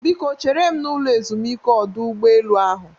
Biko chere m n'ụlọ ezumike ọdọ ụgbọelu ahụ